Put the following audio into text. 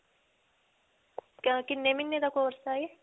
ਕਕ ਕਿੰਨੇ ਮਹੀਨੇ ਦਾ course ਹੈ ਇਹ?